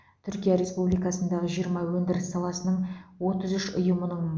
түркия республикасындағы жиырма өндіріс саласының отыз үш ұйымының